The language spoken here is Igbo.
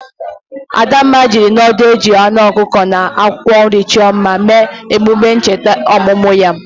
Adamma jiri nudul ejiri anu okuko na akwokwo nri cho mma mee emume ncheta omumu ya.